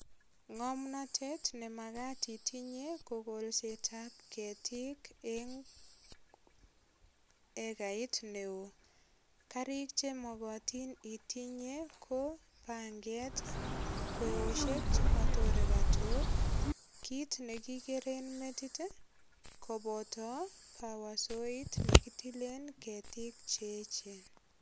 Ngomnatet ne magat itinye ko kolsetab ketik eng egait neo. Karik che mogotin itinye ko panget kweosiek chematore katok. Kit ne kikeren metit kobo pawasoit nekitilen ketiik che eechen.